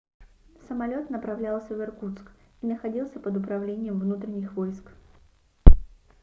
самолёт направлялся в иркутск и находился под управлением внутренних войск